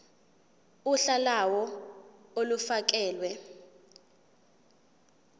uhla lawo olufakelwe